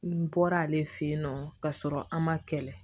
N bɔra ale fɛ yen nɔ ka sɔrɔ a ma kɛlɛ